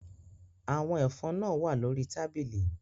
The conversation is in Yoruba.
Àwọn ẹ̀fọn náà wà lórí tábìlì